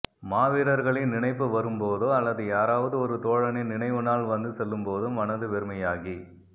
மாவீரர்களின் நினைப்பு வரும்போதோ அல்லது யாராவது ஒரு தோழனின் நினைவுநாள் வந்து செல்லும்போதோ மனது வெறுமையாகி